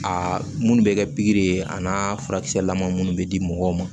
Aa munnu bɛ kɛ pikiri ye a n'a furakisɛ lama minnu bɛ di mɔgɔw ma